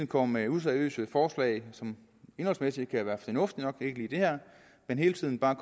kommer med useriøse forslag som indholdsmæssigt kan være fornuftige nok ikke lige det her men hele tiden bare